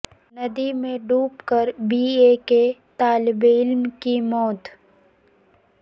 ندی میں ڈوب کر بی اے کے طالب علم کی موت